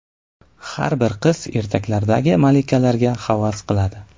Har bir qiz ertaklardagi malikalarga havas qiladi.